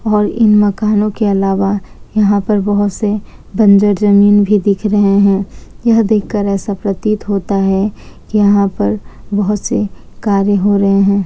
और इन मकानों के अलावा यहां पे बहुत से बंजर जमीन भी दिख रहे है यह देखकर ऐसा प्रतीत होता है की यहां पर बहुत से कार्य हो रहे हैं।